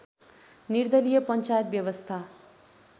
निर्दलिय पञ्चायत व्यवस्था